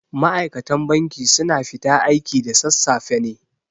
Ma'aikatan banki su na fita aiki da sassafe ne